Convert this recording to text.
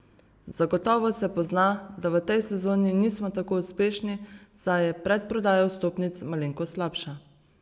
Zagotovo se pozna, da v tej sezoni nismo tako uspešni, saj je predprodaja vstopnic malenkost slabša.